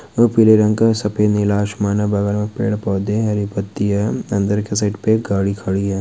और पीले रंग का सफेद नीला आसमान है बगल में पेड़-पौधे हरी पत्तियां अंदर के साइड पे गाड़ी खड़ी है।